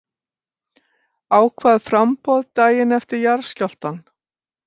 Ákvað framboð daginn eftir jarðskjálftann